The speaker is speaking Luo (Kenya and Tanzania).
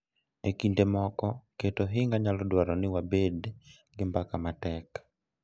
E kinde moko, keto ohinga nyalo dwaro ni wabed gi mbaka matek .